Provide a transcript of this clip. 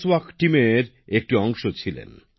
walk টিমের একজন সদস্য ছিলেন